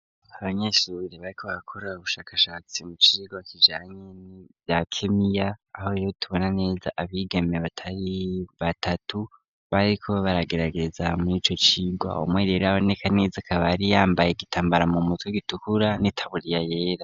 Abanyeshure bariko barakora ubushakashatsi mu cigwa kijanye nivya kemiya, aho rero tubona neza abigeme batari batatu, bariko baragerageza murico cigwa, umwe rero aboneka neza akaba yari yambaye igitambara mu mutwe gitukura n'itaburiya yera.